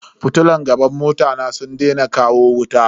Fitilun gaban mota na sun daina kawo wuta.